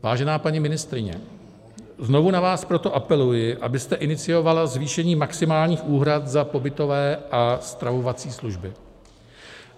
Vážená paní ministryně, znovu na vás proto apeluji, abyste iniciovala zvýšení maximálních úhrad za pobytové a stravovací služby.